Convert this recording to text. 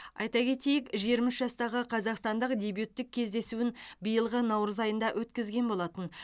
айта кетейік жиырма үш жастағы қазақстандық дебюттік кездесуін биылғы наурыз айында өткізген болатын